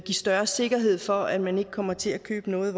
større sikkerhed for at man ikke kommer til at købe noget